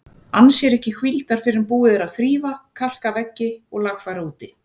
Ann sér ekki hvíldar fyrr en búið er að þrífa, kalka veggi og lagfæra úti.